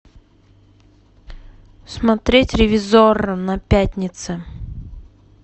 смотреть ревизорро на пятнице